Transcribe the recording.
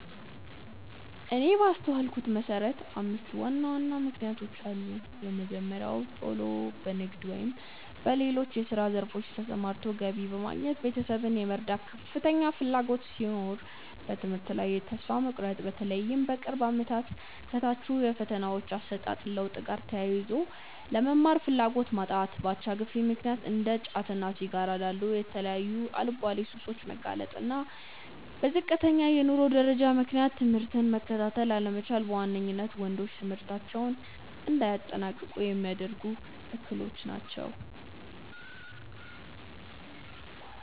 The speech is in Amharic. እኔ ባስተዋልኩት መሰረት አምስት ዋና ዋና ምክንያቶች አሉ። የመጀመሪያው ቶሎ በንግድ ወይም በሌሎች የስራ ዘርፎች ተሰማርቶ ገቢ በማግኘት ቤተሰብን የመርዳት ከፍተኛ ፍላጎት ሲሆን፤ በትምህርት ላይ ተስፋ መቁረጥ(በተለይም በቅርብ አመታት ከታዩት የፈተናዎች አሰጣጥ ለውጥ ጋር ተያይዞ)፣ ለመማር ፍላጎት ማጣት፣ በአቻ ግፊት ምክንያት እንደ ጫትና ሲጋራ ላሉ የተለያዩ አልባሌ ሱሶች መጋለጥ፣ እና በዝቅተኛ የኑሮ ደረጃ ምክንያት ትምህርትን መከታተል አለመቻል በዋነኝነት ወንዶች ትምህርታቸውን እንዳያጠናቅቁ ሚያደርጉ እክሎች ናቸው።